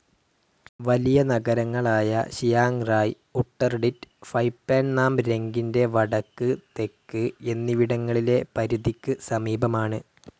വലിയ നഗരങ്ങളായ Chiang Rai, Uttaradit, ഫൈ പാൻ നാം രങ്കിൻ്റെ വടക്ക്, തെക്ക് എന്നിവിടങ്ങളിലെ പരിധിക്ക് സമീപമാണ്.